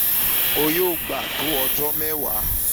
o yoo gba to ọjọ mewaa